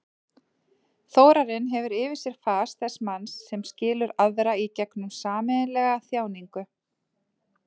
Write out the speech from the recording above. Þórarinn hefur yfir sér fas þess manns sem skilur aðra í gegnum sameiginlega þjáningu.